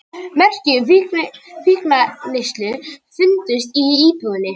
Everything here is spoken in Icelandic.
Merki um fíkniefnaneyslu fundust í íbúðinni